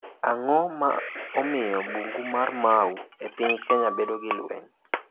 Ang’o ma miyo bungu mar Mau e piny Kenya bedo gi lweny?